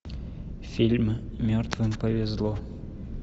фильм мертвым повезло